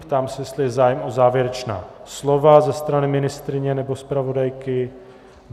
Ptám se, jestli je zájem o závěrečná slova ze strany ministryně nebo zpravodajky.